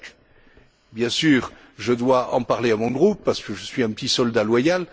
5. Bien sûr, je dois en parler à mon groupe car je suis un petit soldat loyal